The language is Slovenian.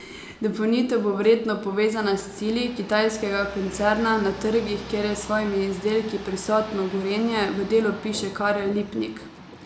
Dopolnitev bo verjetno povezana z cilji kitajskega koncerna na trgih, kjer je s svojimi izdelki prisotno Gorenje, v Delu piše Karel Lipnik.